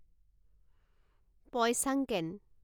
Poi Sangken